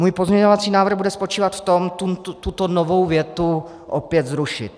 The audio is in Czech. Můj pozměňovací návrh bude spočívat v tom tuto novou větu opět zrušit.